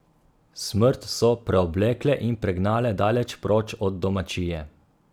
Smrt so preoblekle in pregnale daleč proč od domačije.